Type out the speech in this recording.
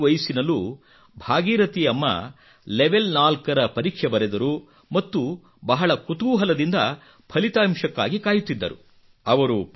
ಈ ಇಳಿ ವಯಸ್ಸಿನಲ್ಲೂ ಭಾಗೀರಥಿ ಅಮ್ಮ ಲೆವೆಲ್ 4 ರ ಪರೀಕ್ಷೆ ಬರೆದರು ಮತ್ತು ಬಹಳ ಕುತೂಹಲದಿಂದ ಫಲಿತಾಂಶಕ್ಕಾಗಿ ಕಾಯುತ್ತಿದ್ದರು